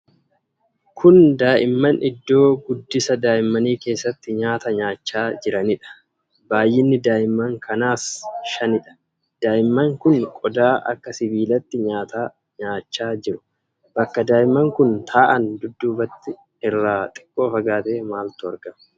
Kun daa'imman iddoo guddisa daa'immanii keessatti nyaata nyaachaa jiranidha. Baay'inni daa'imman kanaa shanidha. Daa'imman kun qodaa akka sibiilaatti nyaata nyaachaa jiru. Bakka daa'imman kun taa'an dudduubatti irraa xiqqoo fagaatee maaltu argama?